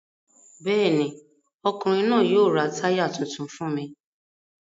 Bẹ́ẹ̀ ni, ọkùnrin náà yóò ra táyà tuntun fún mi.